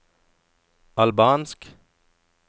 albansk